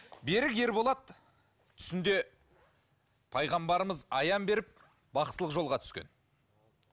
берік ерболат түсінде пайғамбарымыз аян беріп бақсылық жолға түскен